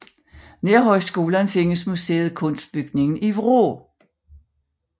Nær Højskolen findes museet Kunstbygningen i Vrå